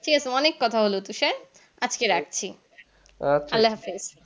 ঠিক আছে অনিক কথা হলো তুষার আজকে রাখছি আল্লাহাফিজ